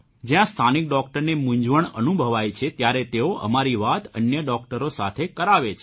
જ્યાં સ્થાનિક ડૉકટરને મુંઝવણ અનુભવાય છે ત્યારે તેઓ અમારી વાત અન્ય ડોકટરો સાથે કરાવે છે